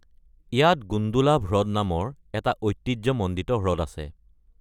ইয়াত গুণ্ডোলাভ হ্ৰদ নামৰ এটা ঐতিহ্যমণ্ডিত হ্ৰদ আছে।